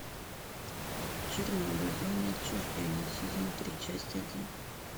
чернобыль зона отчуждения сезон три часть один